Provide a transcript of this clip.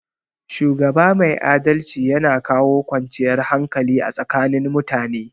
Shugaba mai adalci yana kawo kwanciyar hakali a tsakanin mutane